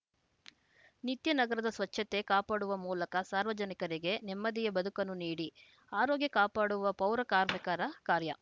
ನಿತ್ಯ ನಗರದ ಸ್ವಚ್ಛತೆ ಕಾಪಾಡುವ ಮೂಲಕ ಸಾರ್ವಜನಿಕರಿಗೆ ನೆಮ್ಮದಿಯ ಬದುಕನ್ನು ನೀಡಿ ಆರೋಗ್ಯ ಕಾಪಾಡುವ ಪೌರ ಕಾರ್ಮಿಕರ ಕಾರ್ಯ